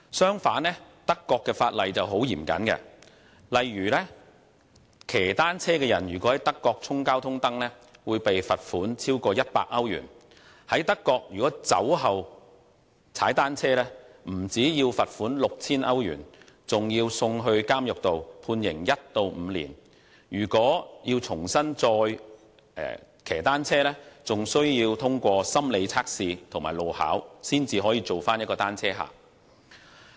相反，德國的法例相當嚴謹，例如踏單車的人如果在德國衝交通燈，會被罰款超過100歐羅。在德國，如果酒後踏單車，不但要罰款 6,000 歐羅，還要被監禁1至5年；其後還需要通過心理測試和路考，才能再次成為"單車客"。